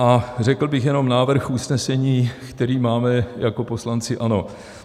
A řekl bych jenom návrh usnesení, který máme jako poslanci ANO: